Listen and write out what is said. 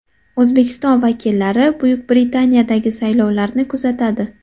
O‘zbekiston vakillari Buyuk Britaniyadagi saylovlarni kuzatadi.